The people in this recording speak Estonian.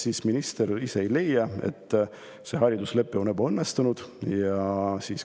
Kas minister ise ei leia, et see hariduslepe on ebaõnnestunud?